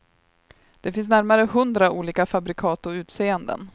Det finns närmare hundra olika fabrikat och utseenden.